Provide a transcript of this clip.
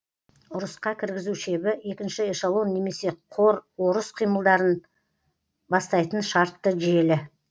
ұрысқа кіргізу шебі екінші эшелон немесе қор ұрыс қимылдарын бастайтын шартты желі